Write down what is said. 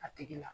A tigi la